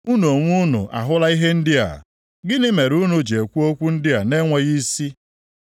Unu onwe unu ahụla ihe ndị a, gịnị mere unu ji ekwu okwu ndị a na-enweghị isi?